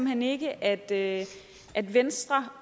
hen ikke at venstre